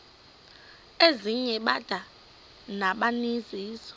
ezinye bada nabaninizo